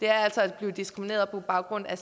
er at blive diskrimineret på baggrund af